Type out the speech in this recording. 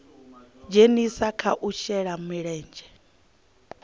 dzhenisa kha u shela mulenzhe